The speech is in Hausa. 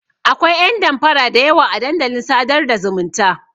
Akwai ƴan damfara da yawa a dandalin sadar da zumunta.